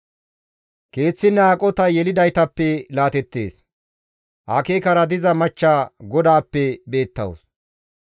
Keeththinne aqotay yelidaytappe laatteettes; akeekara diza machcha GODAAPPE beettawus.